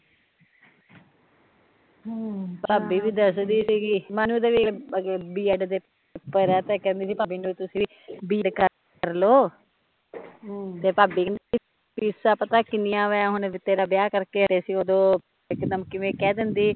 ਹਮ ਭਾਬੀ ਵੀ ਦੱਸਦੀ ਸੀਗੀ, ਮਨੂ ਦੇ ਵੀ ਅੱਗੇ ਬ. ਐਡ ਦੇ ਪੇਪਰ ਐ, ਤਾਂ ਕੇਹਦੀ ਸੀ ਮੈਂਨੂੰ ਤੁਸੀ ਬ. ਐਡ ਕਰਲੋ ਹਮ ਤਾਂ ਭਾਬੀ ਕੇਹਦੀ ਫ਼ੀਸਾਂ ਪਤਾ ਕਿੰਨੀਆ ਆ, ਹੁਣੇ ਤਾਂ ਤੇਰਾ ਵਿਆਹ ਕਰ ਕੇ ਹਟੇ ਸੀ ਉਦੋ ਇਕਦਮ ਕਿਵੇ ਕਹਿ ਦਿੰਦੀ